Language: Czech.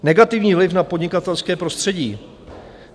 Negativní vliv na podnikatelské prostředí.